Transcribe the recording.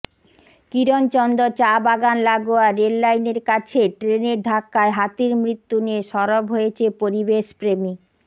কিরণচন্দ চা বাগান লাগোয়া রেল লাইনের কাছে ট্রেনের ধাক্কার হাতির মৃত্যু নিয়ে সরব হয়েছে পরিবেশপ্রেমী